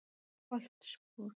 Holtsbúð